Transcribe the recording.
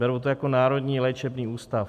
Berou to jako národní léčebný ústav.